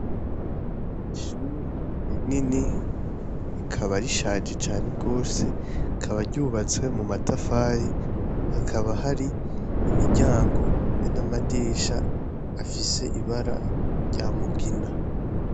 Ishuri rinini rikaba rishaje cane gose rikaba ryubatse mu matafari hakaba hari imiryango be n' amadirisha afise ibara rya mugina.